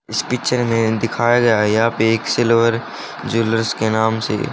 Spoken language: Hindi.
इस पिक्चर मे दिखाया गया या पे एक सिल्वर ज्वैलर्स के नाम से--